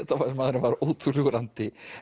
maðurinn var ótrúlegur andi